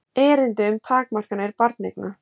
erindi um takmarkanir barneigna